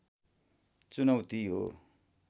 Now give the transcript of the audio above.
चुनौती हो